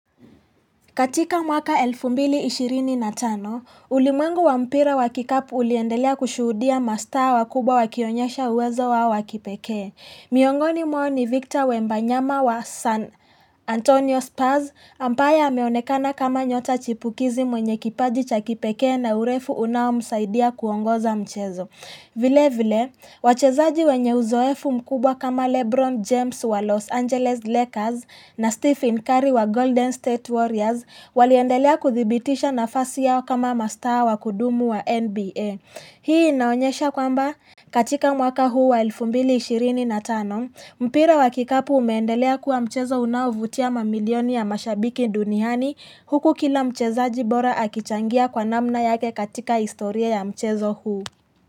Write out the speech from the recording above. Katika mwaka 2025, ulimwengu wa mpira wa kikapu uliendelea kushuhudia ma star wakubwa wakionyesha uwezo wao wakipekee. Miongoni mwao Victor Wembanyama wa San Antonio Spurs, ambaye ameonekana kama nyota chipukizi mwenye kipaji cha kipekee na urefu unao msaidia kuongoza mchezo. Vilevile, wachezaji wenye uzoefu mkubwa kama Lebron James wa Los Angeles Lakers na Stephen Curry wa Golden State Warriors waliendelea kuthibitisha nafasi yao kama mastar wakudumu wa NBA. Hii inaonyesha kwamba katika mwaka huu wa elfu mbili ishirini na tano, mpira wa kikapu umeendelea kuwa mchezo unaovutia mamilioni ya mashabiki duniani huku kila mchezaji bora akichangia kwa namna yake katika historia ya mchezo huu.